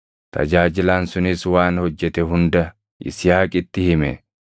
Tajaajilaan sunis waan hojjete hunda Yisihaaqitti hime.